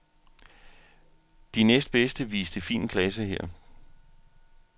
De næstbedste viste fin klasse her.